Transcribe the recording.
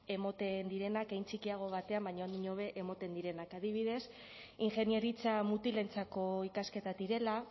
emoten direnak hein txikiago batean baina ondiño be emoten direnak adibidez ingeniaritza mutilentzako ikasketak direla